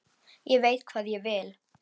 Ég veit hvað ég vil!